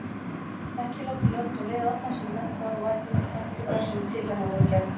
Ekki látið lönd og leið allan sinn metnað og væntingar sem til hennar voru gerðar.